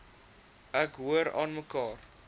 ek hoor aanmekaar